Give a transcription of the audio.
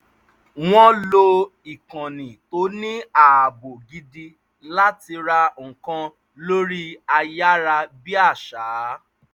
wọ́n lo ikànnì tó ní ààbò gidi láti rà nǹkan lórí ayárabíàṣá